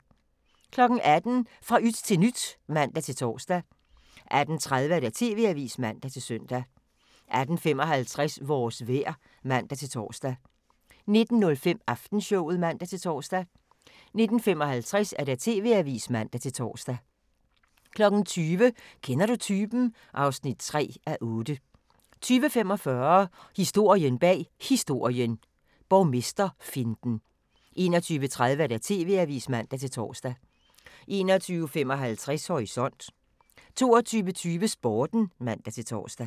18:00: Fra yt til nyt (man-tor) 18:30: TV-avisen (man-søn) 18:55: Vores vejr (man-tor) 19:05: Aftenshowet (man-tor) 19:55: TV-avisen (man-tor) 20:00: Kender du typen? (3:8) 20:45: Historien bag Historien: Borgmesterfinten 21:30: TV-avisen (man-tor) 21:55: Horisont 22:20: Sporten (man-tor)